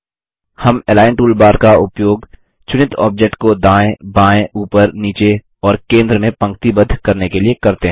हम align toolbar का उपयोग चुनित ऑब्जेक्ट को दायें बायें ऊपर नीचे और केंद्र में पंक्तिबद्ध करने के लिए करते हैं